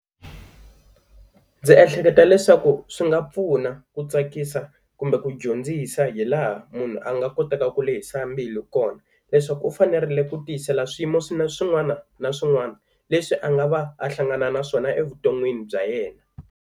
Ndzi ehleketa leswaku swi nga pfuna ku tsakisa kumbe ku dyondzisa hi laha munhu a nga kotaka ku lehisa mbilu kona, leswaku u fanerile ku tiyisela swiyimo swi na swin'wana na swin'wana leswi a nga va a hlangana na swona a vuton'wini bya yena.